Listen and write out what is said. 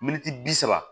Miniti bi saba